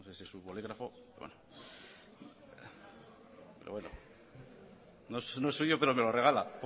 su bolígrafo no sé si no es suyo pero me lo regala